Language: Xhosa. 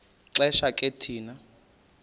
xesha ke thina